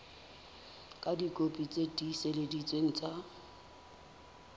ka dikopi tse tiiseleditsweng tsa